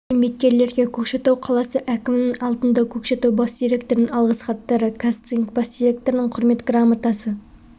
еңбеккерлерге көкшетау қаласы әкімінің алтынтау көкшетау бас директорының алғыс хаттары қазцинк бас директорының құрмет грамотасы